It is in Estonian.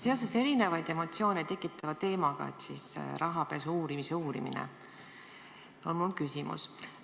Seoses erinevaid emotsioone tekitava teemaga, rahapesu uurimise uurimisega, on mul küsimus.